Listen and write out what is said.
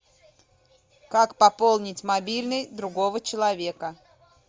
как пополнить мобильный другого человека